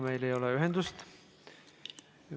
Meil ei ole Merryga ühendust.